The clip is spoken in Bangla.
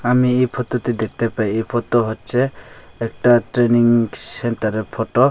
আমি এই ফতো টে দেখতে পাই এই ফতো হচ্ছে একটা ট্রেনিং সেন্তার এর ফতো ।